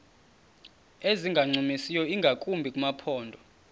ezingancumisiyo ingakumbi kumaphondo